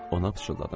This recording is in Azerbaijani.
Ona pıçıldadım.